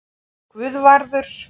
Guðvarður